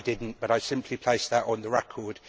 I did not, but I simply place that on the record.